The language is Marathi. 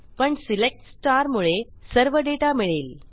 पण सिलेक्ट quot मुळे सर्व डेटा मिळेल